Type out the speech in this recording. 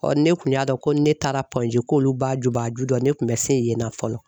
Ɔ ne kun y'a dɔn ko ni ne taara k'olu ba jubaju don ne tun bɛ se yen nɔ fɔlɔ.